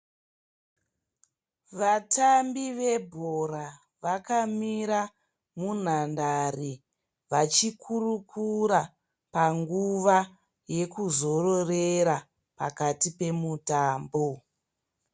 Vatambi vebhora vakamira munhandare vachikurukura panguva yekuzororera pakati pemutambo.